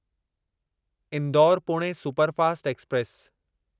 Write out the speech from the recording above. Indore Pune superfast express